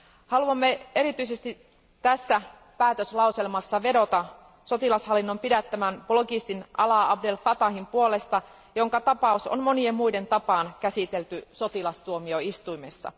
Haluamme erityisesti tässä päätöslauselmassa vedota sotilashallinnon pidättämän blogistin Alaa Abd El Fatahin puolesta, jonka tapaus on monien muiden tapaan käsitelty sotilastuomioistuimessa.